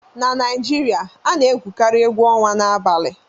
na Naijiria a na-egwukarị egwu ọnwa n'abalị